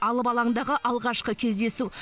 алып алаңдағы алғашқы кездесу